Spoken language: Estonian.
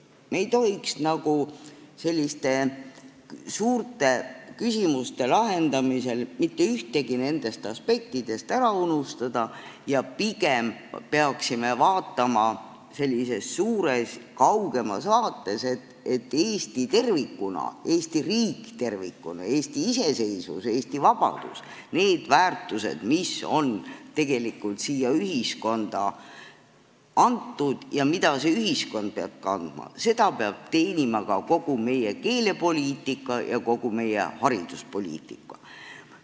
Me ei tohiks selliste suurte küsimuste lahendamisel mitte ühtegi nendest aspektidest ära unustada ja pigem peaksime vaatama sellises pikas, kaugemas vaates, et Eesti riik tervikuna, Eesti iseseisvus ja Eesti vabadus on need väärtused, mis on tegelikult siia ühiskonda antud ja mida see ühiskond peab kandma, ning neid peab teenima ka kogu meie keelepoliitika ja kogu meie hariduspoliitika.